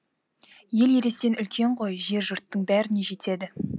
ел ересен үлкен ғой жер жұрттың бәріне жетеді